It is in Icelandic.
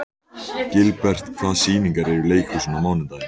Gilbert, hvaða sýningar eru í leikhúsinu á mánudaginn?